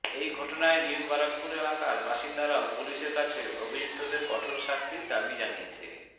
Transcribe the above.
এই ঘটনায় নিউ বারাকপুর এলাকার বাসিন্দারাও পুলিশের কাছে অভিযুক্তদের কঠোর শাস্তির দাবি জানিয়েছে